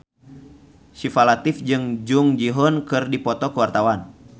Syifa Latief jeung Jung Ji Hoon keur dipoto ku wartawan